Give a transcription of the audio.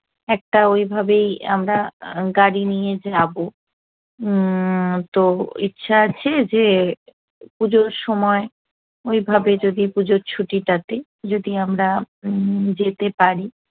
একটা ওইভাবেই আমরা গাড়ি নিয়ে যাবো উম্ম তো ইচ্ছা আছে যে পুজোর সময় ওইভাবে যদি পুজোর ছুটিটাতে যদি আমরা উম যেতে পারি